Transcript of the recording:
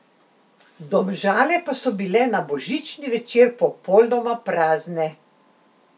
Domžale pa so bile na božični večer popolnoma prazne.